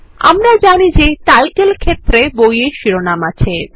আমরা জানি যে টাইটেল ক্ষেত্রে বইয়ের শিরোনাম আছে